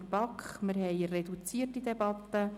der BaK. Wir führen eine reduzierte Debatte.